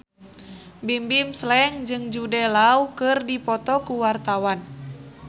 Bimbim Slank jeung Jude Law keur dipoto ku wartawan